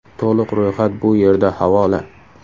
To‘liq ro‘yxat bu yerda havola .